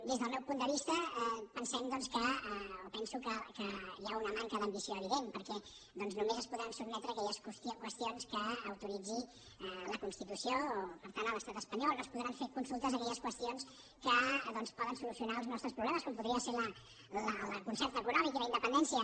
des del meu punt de vista pensem doncs o penso que hi ha una manca d’ambició evident perquè només es podran sotmetre aquelles qüestions que autoritzi la constitució o per tant l’estat espanyol no es podran fer consultes d’aquelles qüestions que poden solucionar els nostres problemes com podrien ser el concert econòmic i la independència